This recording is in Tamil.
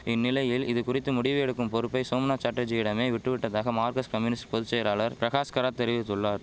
இந்நிலையில் இதுகுறித்து முடிவு எடுக்கும் பொறுப்பை சோம்நாத் சாட்டர்ஜியிடமே விட்டுவிட்டதாக மார்கஸ்ட் கம்யூனிஸ்ட் பொது செயலாளர் பிரகாஷ் கராத் தெரிவித்துள்ளார்